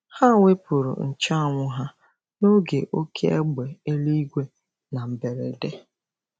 Ha wepụrụ nche anwụ ha n'oge oké égbè eluigwe na mberede.